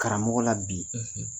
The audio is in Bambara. Karamɔgɔ la bi.